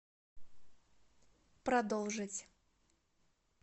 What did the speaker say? продолжить